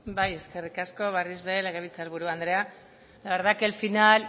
bai eskerrik asko berriz ere legebiltzar buru andrea la verdad que el final